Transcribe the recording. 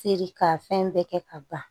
Feere ka fɛn bɛɛ kɛ ka ban